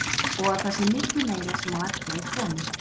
Og að það sé miklu meira sem á eftir að koma.